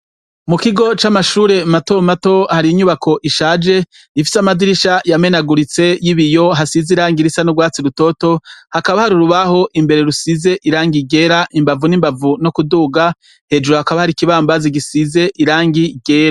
Mu kigo c'amashure matomato hari inyubako ishaje ifise amadirisha yamenaguritse y'ibiyo hasize irangi risa n'urwatsi rutoto, hakaba hari urubaho imbere rusize irangi ryera imbavu n'imbavu no kuduga, hejuru hakaba hari ikibambazi gisize irangi ryera.